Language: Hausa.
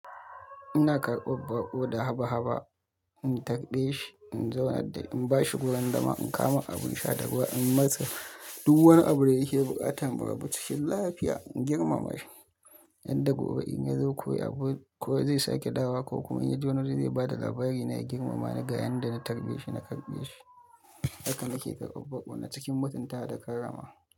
Ina karɓar baƙo da haba-haba, in tarbe shi, in zauna da shi, in ba shi gurin zama, in kawo mar abin sha da ruwa, in masa duk wani abu da yake buƙata. Bari mutum shi lafiya, in girmama shi yadda gobe in ya zo koya ko zai sake dawowa ko kuma in ya ji wani abu zai ba da labari na girmama ni ga yadda na tarbe shi, na karɓe shi. Haka nake karɓar baƙo na cikin mutunta da karama.